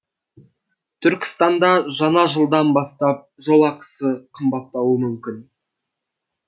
түркістанда жаңа жылдан бастап жол ақысы қымбаттауы мүмкін